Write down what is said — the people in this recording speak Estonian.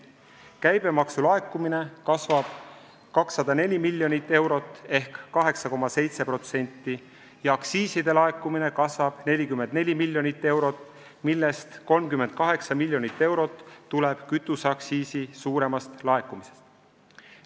Käibemaksu laekumine kasvab 204 miljonit eurot ehk 8,7% ja aktsiiside laekumine kasvab 44 miljonit eurot, millest 38 miljonit eurot tuleb kütuseaktsiisi suuremast laekumisest.